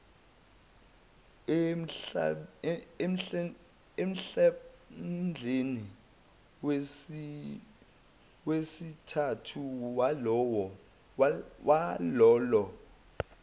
emhlandleni wesithathu walolo